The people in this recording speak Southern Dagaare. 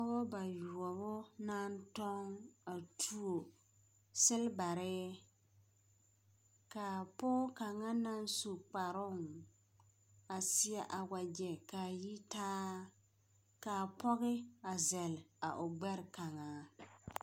Pɔgeba bayoɔbo naŋ toŋ a tuo selbare, ka a pɔge kaŋa naŋ su kaproŋ a seɛ a wagɛ ka a yi taa, ka apɔge a zɛle a o gbɛre kaŋa.